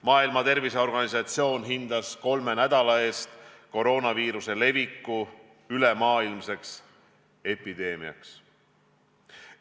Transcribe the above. Maailma Terviseorganisatsioon hindas kolme nädala eest koroonaviiruse leviku ülemaailmseks epideemiaks.